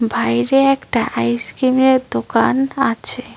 বাইরে একটা আইসক্রিমের দোকান আছে।